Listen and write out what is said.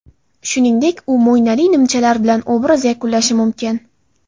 Shuningdek, u mo‘ynali nimchalar bilan obraz yakunlashi mumkin.